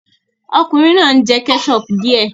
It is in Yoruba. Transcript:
Ọkùnrin náà ń jẹ ketchup díẹ̀